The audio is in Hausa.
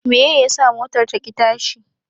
Meye yasa motar ta ki tashi?